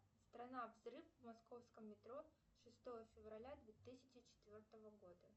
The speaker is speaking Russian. страна взрыв в московском метро шестого февраля две тысячи четвертого года